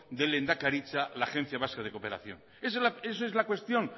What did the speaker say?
de lehendakaritza la agencia vasca de cooperación esa es la cuestión